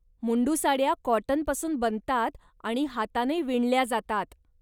मुंडू साड्या कॉटनपासून बनतात आणि हाताने विणल्या जातात.